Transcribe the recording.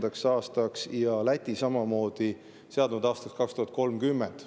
Läti on seadnud aastaks 2030.